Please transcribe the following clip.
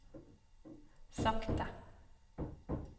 sakte